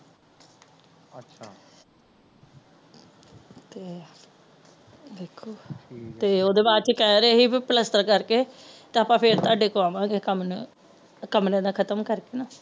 ਤੇ ਵੇਖੋ ਤੇ ਓਦੇ ਬਾਦਚੋ ਕਹਿ ਰਹੇ ਸੀ ਕੇ ਬੀ ਪਲਸਤਰ ਕਰਕੇ ਤੇ ਆਪਾ ਫੇਰ ਤੁਆਡੇ ਕੋ ਆਵਾਂਗੇ ਕਮਰਿਆਂ ਕਮਰਿਆਂ ਦਾ ਖਤਮ ਕਰਕੇ